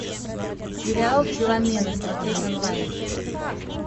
сериал филомена смотреть онлайн